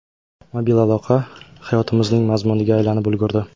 Mobil aloqa hayotimizning mazmuniga aylanib ulgurdi.